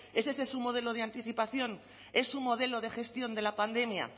es ese su modelo de anticipación es su modelo de gestión de la pandemia